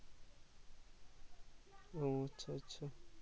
ও আচ্ছা আচ্ছা